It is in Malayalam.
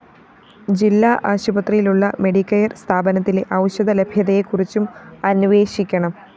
ജില്ലാ ആശുപത്രിയിലുള്ള മെഡിക്കെയർ സ്ഥാപനത്തിലെ ഔഷധ ലഭ്യതയെ കുറിച്ചും അനേ്വഷിക്കണം